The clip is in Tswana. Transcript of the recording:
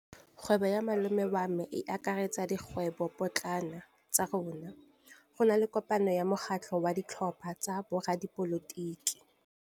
Kgwêbô ya malome wa me e akaretsa dikgwêbôpotlana tsa rona. Go na le kopanô ya mokgatlhô wa ditlhopha tsa boradipolotiki.